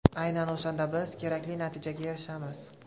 Aynan o‘shanda biz kerakli natijaga erishamiz.